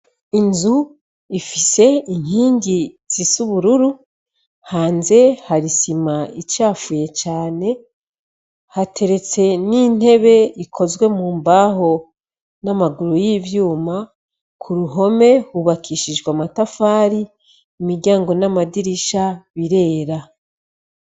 Inzu ifise inkingi zis'ubururu, hanze hari isima icafuye cane. Hateretse n'intebe ikozwe mu mbaho n'amaguru y'ivyuma. Ku ruhome hubakishijwe amatafari, imiryango n'amadirisha birera.